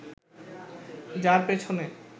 যার পেছনে